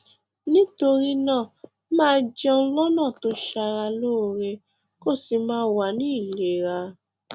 nítorí náà máa jẹun lọnà tó ṣara lóore kó o sì máa wà ní ìlera